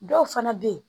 Dɔw fana bɛ yen